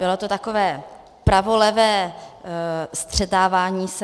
Bylo to takové pravolevé střetávání se.